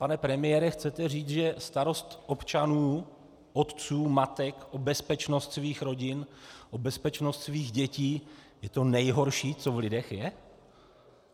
Pane premiére, chcete říct, že starost občanů, otců, matek, o bezpečnost svých rodin, o bezpečnost svých dětí, je to nejhorší, co v lidech je?